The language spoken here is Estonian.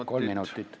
Jah, palun!